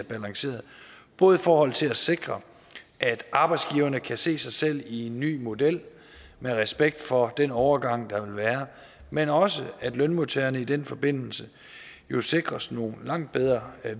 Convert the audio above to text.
balancerede både i forhold til at sikre at arbejdsgiverne kan se sig selv i en ny model med respekt for den overgang der vil være men også for at lønmodtagerne i den forbindelse jo sikres nogle langt bedre